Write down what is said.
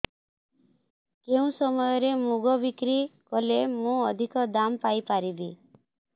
କେଉଁ ସମୟରେ ମୁଗ ବିକ୍ରି କଲେ ମୁଁ ଅଧିକ ଦାମ୍ ପାଇ ପାରିବି